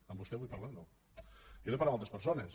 amb vostè vull parlar o no jo dec parlar amb altres persones